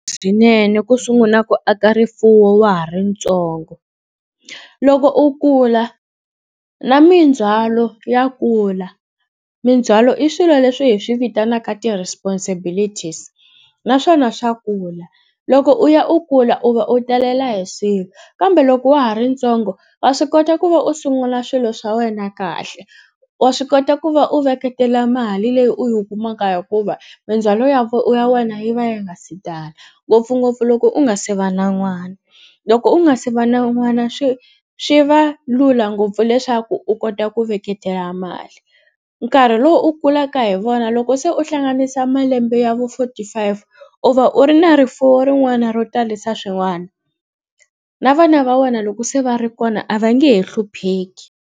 Swinene ku sungula ku aka rifuwo wa ha ri ntsongo loko u kula na mindzwalo ya kula mindzhwalo i swilo leswi hi swi vitanaka ti-responsibilities naswona swa kula loko u ya u kula u va u talela hi swilo kambe loko wa ha ri ntsongo wa swi kota ku va u sungula swilo swa wena kahle wa swi kota ku va u veketela mali leyi u yi u kumaka hikuva mindzwalo ya ya wena yi va ya nga si tala ngopfungopfu loko u nga se va na n'wana loko u nga se va na n'wana swi swi va lula ngopfu leswaku u kota ku veketela mali nkarhi lowu u kulaka hi wona loko se u hlanganisa malembe ya vo forty five u va u ri na rifuwo rin'wana ro talisa swin'wana na vana va wena loko se va ri kona a va nge he hlupheki.